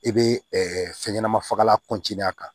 I bɛ fɛn ɲɛnama fagalan a kan